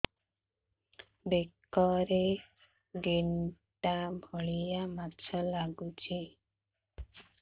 ବେକରେ ଗେଟା ଭଳିଆ ମାଂସ ଲାଗୁଚି